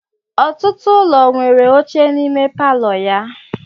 Ọtụtụ ụlọ nwere oche n'ime palọ ya.